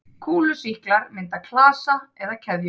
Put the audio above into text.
Kúlusýklar mynda klasa eða keðjur.